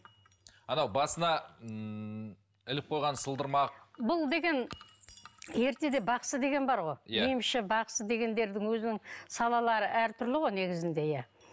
анау басына ммм іліп қойған сылдырмақ бұл деген ертеде бақсы деген бар ғой емші бақсы дегендердің өзінің салалары әртүрлі ғой негізінде иә